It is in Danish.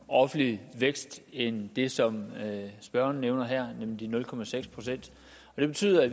offentlig vækst end det som spørgeren nævner her nemlig nul procent det betyder at